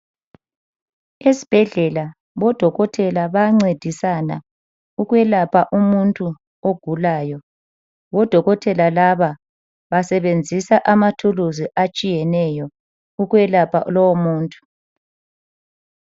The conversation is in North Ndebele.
Esibhedlela odokotela bayancedisana ukwelapha umuntu ogulayo. Odokotela laba basebenzisa amathuluzi atshiyeneyo ukwelapha lowomuntu.